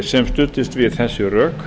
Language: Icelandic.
sem studdist við þessi rök